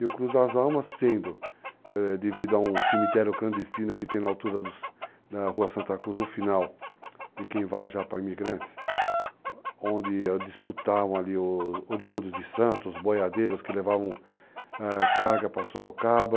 E o Cruz das Almas sendo, devido a um cemitério clandestino que tem na altura da Rua Santa Cruz, no final, de quem vai já para imigrantes, onde disputavam ali os oriundos de Santos, boiadeiros que levavam carga para Sorocaba.